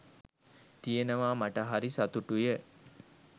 තියෙනවා මට හරි සතුටුය.